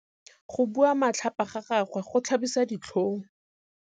Go bua matlhapa ga gagwe go tlhabisa ditlhong.